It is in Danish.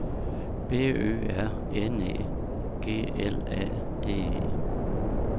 B Ø R N E G L A D E